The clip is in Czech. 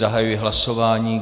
Zahajuji hlasování.